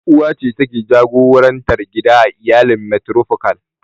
Uwa ce take jagorantar gida a iyalin matrifokal.